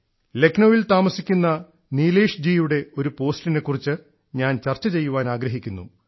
ലക്നൌവിൽ താമസിക്കുന്ന നീലേഷ്ജിയുടെ ഒരു പോസ്റ്റിനെക്കുറിച്ച് ഞാൻ ചർച്ച ചെയ്യുവാനാഗ്രഹിക്കുന്നു